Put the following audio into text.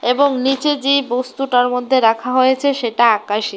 এবং নীচে যেই বস্তুটার মধ্যে রাখা হয়েছে সেটা আকাশী।